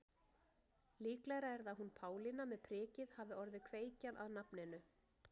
Líklegra er að hún Pálína með prikið hafi orðið kveikjan að nafninu.